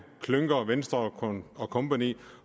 klynker venstre og kompagni